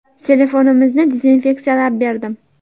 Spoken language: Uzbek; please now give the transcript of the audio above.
Telefonimizni dezinfeksiyalab berdim.